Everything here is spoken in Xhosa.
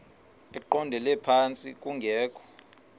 eqondele phantsi kungekho